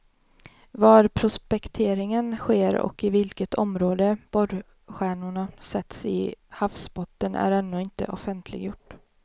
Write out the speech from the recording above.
Var prospekteringen sker och i vilket område borrkärnorna sätts i havsbotten är ännu inte offentliggjort.